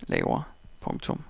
vi laver. punktum